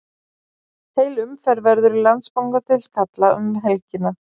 Heil umferð verður í Landsbankadeild karla um helgina.